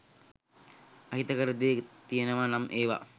අහිතකර දේ තියනවා නම් එවා